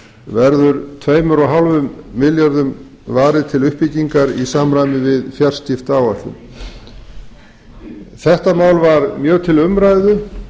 verður tveggja og hálfum milljarði varið til uppbyggingar í samræmi við fjarskiptaáætlun þetta mál var mjög til umræðu